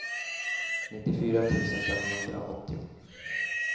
nittiofyra tusen femhundraåttio